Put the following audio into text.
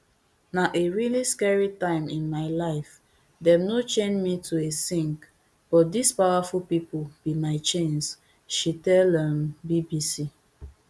na a really scary time in my lifedem no chain me to a sink but dis powerful pipo be my chains she tell um bbc